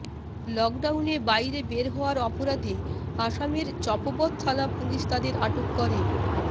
লকডাউনে বাইরে বের হওয়ার অপরাধে আসামের চাপোবৎ থানা পুলিশ তাদের আটক করে